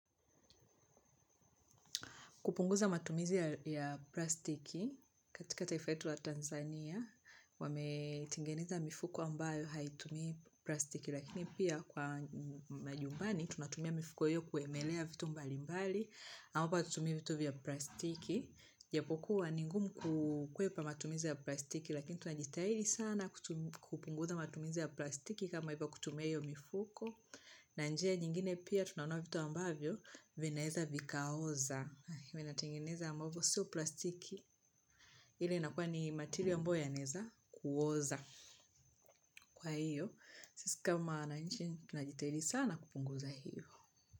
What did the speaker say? Kupunguza matumizi ya plastiki katika taifa yetu ya Tanzania, wametengeneza mifuko ambayo haitumii plastiki. Lakini pia kwa majumbani, tunatumia mifuko iyo kuemelea vitu mbali mbali, ambapo hatutumii vitu vya plastiki. ijapokuwa ni ngumu kukwepa matumizi ya plastiki, lakini tunajitahidi sana kupunguza matumizi ya plastiki kama ivo kutumia iyo mifuko. Na njia nyingine pia tunanua vitu ambavyo vinaeza vikaoza inatendengenezwa ambapo so plastiki ile inakuwa ni material ambayo yanaeza kuoza kwa hiyo sisi kama wananchi tunajitahidi sana kupunguza hiyo.